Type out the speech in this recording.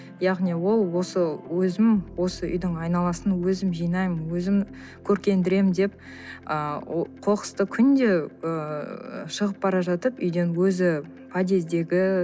яғни ол осы өзім осы үйдің айналасын өзім жинаймын өзім көркендіремін деп ыыы қоқысты күнде ііі шығып бара жатып үйден өзі подъездегі